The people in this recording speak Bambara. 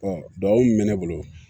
duwawu mun be ne bolo